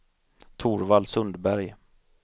Torvald Sundberg